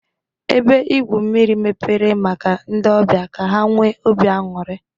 Ebe igwu mmiri mepere maka ndị ọbịa ka ha nwee ọbi anuri.